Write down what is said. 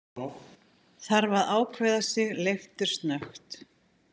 Þarf að ákveða sig leiftursnöggt.